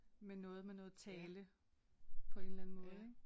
Med noget med noget tale på en eller anden måde ik